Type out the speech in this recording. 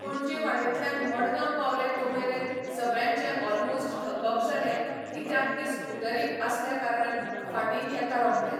पणजे वाटेंतल्यान मडगांव पावले तो मेरेन सगळ्यांचे ऑलमोस्ट थकप जालें कित्याक की स्कुटरी आसल्या कारणान फाटीन येता रोखडें